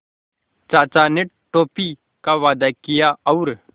चाचा ने टॉफ़ी का वादा किया और